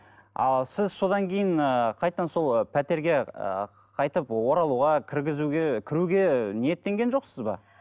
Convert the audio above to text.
ал сіз содан кейін ыыы қайтадан сол ы пәтерге ы қайтып оралуға кіргізуге кіруге ниеттенген жоқсыз ба